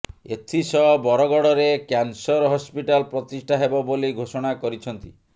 ଏଥିସହ ବରଗଡ଼ରେ cancer hospital ପ୍ରତିଷ୍ଠା ହେବ ବୋଲି ଘୋଷଣା କରିଛନ୍ତି